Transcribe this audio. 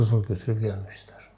Qızıl götürüb gəlmişdilər.